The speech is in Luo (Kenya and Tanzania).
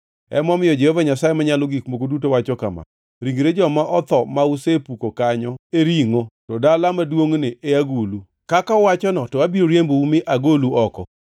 Emomiyo Jehova Nyasaye Manyalo Gik Moko Duto wacho kama: Ringre joma otho ma usepuko kanyo e ringʼo, to dala maduongʼni e agulu, kaka uwachono, to abiro riembou mi agolu oko.